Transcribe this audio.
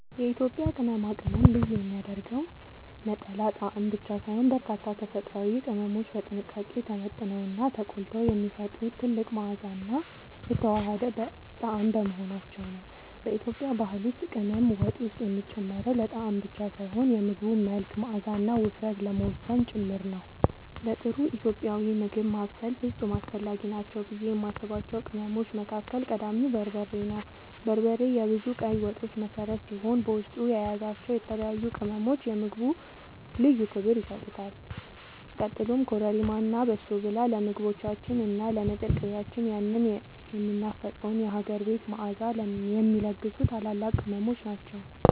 የኢትዮጵያን ቅመማ ቅመም ልዩ የሚያደርገው ነጠላ ጣዕም ብቻ ሳይሆን፣ በርካታ ተፈጥሯዊ ቅመሞች በጥንቃቄ ተመጥነውና ተቆልተው የሚፈጥሩት ጥልቅ መዓዛና የተዋሃደ ጣዕም በመሆናቸው ነው። በኢትዮጵያ ባህል ውስጥ ቅመም ወጥ ውስጥ የሚጨመረው ለጣዕም ብቻ ሳይሆን የምግቡን መልክ፣ መዓዛና ውፍረት ለመወሰን ጭምር ነው። ለጥሩ ኢትዮጵያዊ ምግብ ማብሰል ፍጹም አስፈላጊ ናቸው ብዬ የማስባቸው ቅመሞች መካከል ቀዳሚው በርበሬ ነው። በርበሬ የብዙ ቀይ ወጦች መሠረት ሲሆን፣ በውስጡ የያዛቸው የተለያዩ ቅመሞች ለምግቡ ልዩ ክብር ይሰጡታል። ቀጥሎም ኮረሪማ እና በሶብላ ለምግቦቻችን እና ለንጥር ቅቤያችን ያንን የሚናፈቀውን የሀገር ቤት መዓዛ የሚለግሱ ታላላቅ ቅመሞች ናቸው።